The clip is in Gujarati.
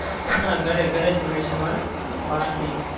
ના. ઘરે ઘરે જ બને છે અમારે બાર નહિ.